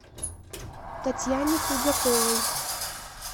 татьяне худяковой